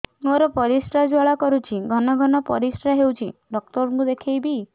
ମୋର ପରିଶ୍ରା ଜ୍ୱାଳା କରୁଛି ଘନ ଘନ ପରିଶ୍ରା ହେଉଛି ଡକ୍ଟର କୁ ଦେଖାଇବି